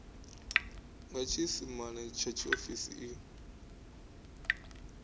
nga tshiisimane tsha tshiofisi i